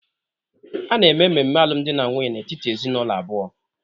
A na-eme ememe alụmdi na nwunye n'etiti ezinụlọ abụọ.